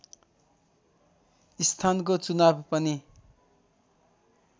स्थानको चुनाव पनि